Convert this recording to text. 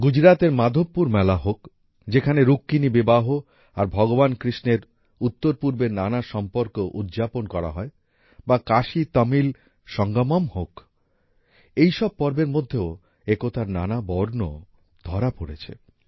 গুজরাতের মাধবপুর মেলা হোক যেখানে রুক্মিণী বিবাহ আর ভগবান কৃষ্ণের উত্তরপূর্বের নানা সম্পর্ক উদযাপন করা হয় বা কাশীতমিল সঙ্গমম হোক এই সব পর্বের মধ্যেও একতার নানা বর্ণ ধরা পড়েছে